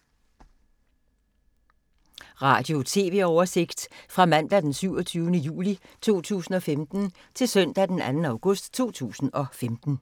Radio/TV oversigt fra mandag d. 27. juli 2015 til søndag d. 2. august 2015